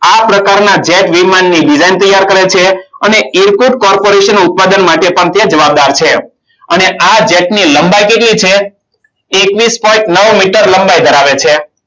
આ પ્રકારના jet વિમાન ની design તૈયાર કરે છે. અને irkut corporation ઉત્પાદન માટે પણ તે જવાબદાર છે. અને આ જેટ ની લંબાઈ કેટલી છે. એકવીસ point નવ meter લંબાઈ ધરાવે છે.